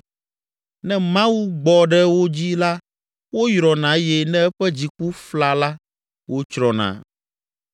Ne Mawu gbɔ ɖe wo dzi la woyrɔna eye ne eƒe dziku fla la wotsrɔ̃na.